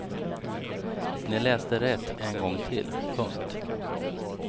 Ni läste rätt en gång till. punkt